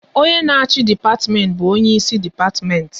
Onye na achị dipatimenti bụ onye isi depatimenti